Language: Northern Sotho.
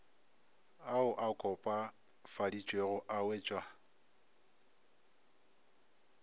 ao a kopafaditšwego a wetšwa